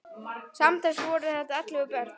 Samtals voru þetta ellefu börn.